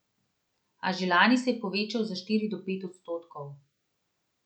A že lani se je povečala za štiri do pet odstotkov.